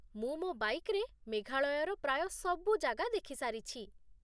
ମୁଁ ମୋ ବାଇକ୍‌ରେ ମେଘାଳୟର ପ୍ରାୟ ସବୁ ଜାଗା ଦେଖି ସାରିଛି ।